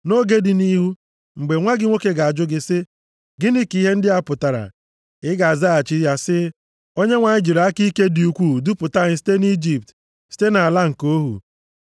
“Nʼoge dị nʼihu, mgbe nwa gị nwoke ga-ajụ gị sị, ‘Gịnị ka ihe ndị a pụtara?’ Ị ga-azaghachi ya sị, ‘ Onyenwe anyị jiri aka ike dị ukwu dupụta anyị site nʼIjipt, site nʼala nke ohu.